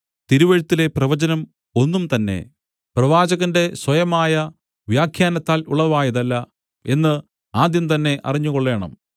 തിരുവെഴുത്തിലെ പ്രവചനം ഒന്നുംതന്നെ പ്രവാചകന്റെ സ്വയമായ വ്യാഖ്യാനത്താൽ ഉളവായതല്ല എന്നു ആദ്യം തന്നെ അറിഞ്ഞുകൊള്ളേണം